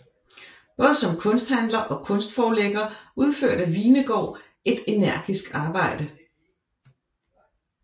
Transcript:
Både som kunsthandler og kunstforlægger udførte Hvenegaard et energisk arbejde